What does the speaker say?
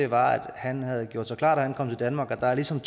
var at han havde gjort sig klart da han kom til danmark at der ligesom